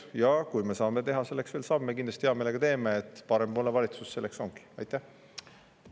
Ja kui me saame selleks veel samme, siis kindlasti me hea meelega seda teeme – selleks parempoolne valitsus ongi.